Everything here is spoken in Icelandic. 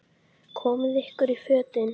Komiði ykkur í fötin.